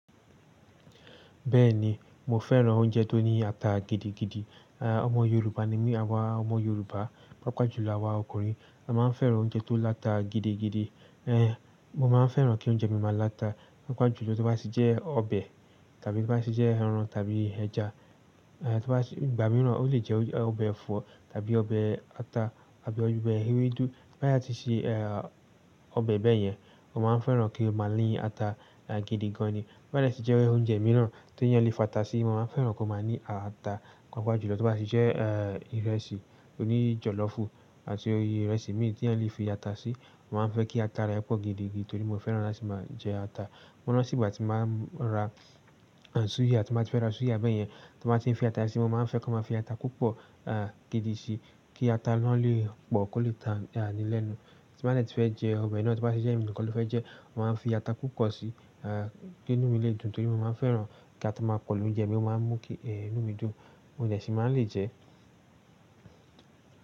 Bẹ́ẹ̀ni, mo fẹ́ràn oúnjẹ tó ní ata gidigidi. À ọmọ Yorùbá ni mí, àwa ọmọ Yorùbá, pàápàá jùlọ àwa ọkùnrin, a máa ń fẹ́ràn oúnjẹ tó láta gidigidi. Ẹ̀, mo máa ń fẹ́ràn kí oúnjẹ mi máa láta, pàápàá jùlọ tí ó bá ti jẹ́ ọbẹ̀ tàbí tí ó bá ti jẹ́ ẹran tàbí ẹja. Ẹ̀, tí ó bá ti-- ìgbà mìíràn ó lè jẹ́ ọbẹ̀ ẹ̀fọ́ tàbí ọbẹ̀ ata tàbí ọbẹ̀ ewédú. Bí bá yá ti sẹ́ ẹ́, ọbẹ̀ bẹ́ẹ̀ yẹn, mo máa ń fẹ́ràn kí ó máa ní ata gidigan ni. Bo ba dẹ tijẹ́ ẹ́ oúnjẹ mìíràn tí ẹniyàn le fa ata sí, mo máa ń fẹ́ràn kó máa ní ata, pàápàá jùlọ tí ó bá ti jẹ́, ẹ́, ìrẹsì oní jọ̀lọ́fù àti orí ìrẹsì míì tí ẹniyàn le fi ata sí, màá ń fẹ́ kí ata rẹ pọ̀ gidigidi torí mo fẹ́ràn láti máa jẹ ata. Mọ́ ran ti ìgbà tí màá ra, ẹ̀n, súyà, tí bàá fẹ́ ra súyà bẹ́ẹ̀ yẹn, tí wọ́n bá ti ń fi ata síi, mo máa ń fẹ́ ki wọn máa fi ata púpọ̀, ààń, gidi síi kí ata náà lè pọ̀ kó lè ta a ní lẹ̀nú. Tí bàá dè ti fẹ́ jẹ ọbẹ̀ náà tí ó bá ti jẹ́ ẹ̀mí nìkan ló fẹ́ jẹ, mo máa ń fi ata púpọ̀ síi, kí inú mi lè dùn torí mo máa ń fẹ́ràn kí ata máa pọ̀ l'oúnjẹ mi ó máa ń mú kí, inú mi dùn. Mo dẹ ṣi máa n lè jẹ.